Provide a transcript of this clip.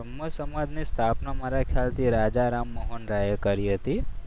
બ્રહ્મા સમાજની સ્થાપના મારા ખ્યાલથી રાજા રામમોહનરાય એ કરી હતી.